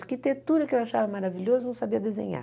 Arquitetura, que eu achava maravilhosa, eu não sabia desenhar.